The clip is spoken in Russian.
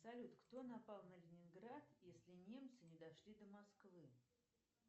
салют кто напал на ленинград если немцы не дошли до москвы